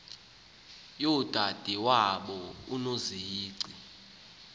yodade wabo unozici